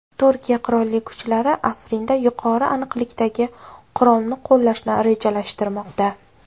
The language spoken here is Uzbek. Turkiya Qurolli kuchlari Afrinda yuqori aniqlikdagi qurolni qo‘llashni rejalashtirmoqda.